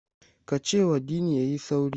Ka cewa Dini ya yi sauri!